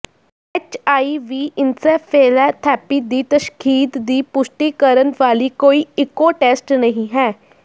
HIV encephalopathy ਦੀ ਤਸ਼ਖ਼ੀਦ ਦੀ ਪੁਸ਼ਟੀ ਕਰਨ ਵਾਲੀ ਕੋਈ ਇਕੋ ਟੈਸਟ ਨਹੀਂ ਹੈ